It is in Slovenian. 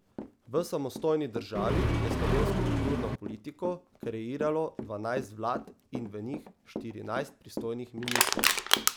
V samostojni državi je slovensko kulturno politiko kreiralo dvanajst vlad in v njih štirinajst pristojnih ministrov.